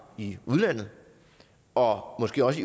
i udlandet og måske også